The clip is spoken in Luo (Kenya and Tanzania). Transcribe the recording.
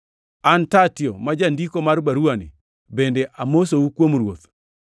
An Tertio, ma jandiko mar baruwani, bende amosou kuom Ruoth.